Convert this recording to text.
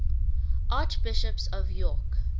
archbishops of york